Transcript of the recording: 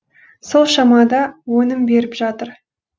сол шамада өнім беріп жатыр